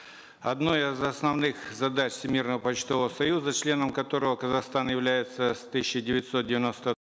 одной из основных задач всемирного почтового союза членом которого казахстан явялется с тысяча девятьсот девяносто